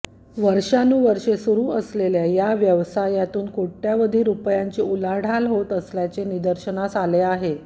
वर्षानुवर्षे सुरू असलेल्या या व्यवसायातून कोट्यवधी रुपयांची उलाढाल होत असल्याचे निदर्शनास आले आहे